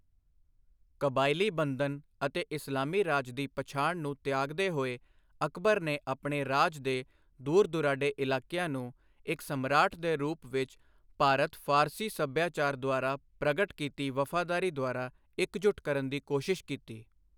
ਕਬਾਇਲੀ ਬੰਧਨ ਅਤੇ ਇਸਲਾਮੀ ਰਾਜ ਦੀ ਪਛਾਣ ਨੂੰ ਤਿਆਗਦੇ ਹੋਏ, ਅਕਬਰ ਨੇ ਆਪਣੇ ਰਾਜ ਦੇ ਦੂਰ ਦੁਰਾਡੇ ਇਲਾਕਿਆਂ ਨੂੰ ਇੱਕ ਸਮਰਾਟ ਦੇ ਰੂਪ ਵਿੱਚ ਭਾਰਤ ਫ਼ਾਰਸੀ ਸੱਭਿਆਚਾਰ ਦੁਆਰਾ ਪ੍ਰਗਟ ਕੀਤੀ ਵਫ਼ਾਦਾਰੀ ਦੁਆਰਾ ਇਕਜੁੱਟ ਕਰਨ ਦੀ ਕੋਸ਼ਿਸ਼ ਕੀਤੀ।